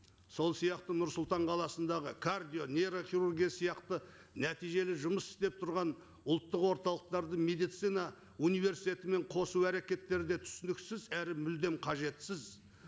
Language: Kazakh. сол сияқты нұр сұлтан қаласындағы кардио нейрохирургия сияқты нәтижелі жұмыс істеп тұрған ұлттық орталықтарды медицина универститетімен қосу әрекеттері де түсініксіз әрі мүлдем қажетсіз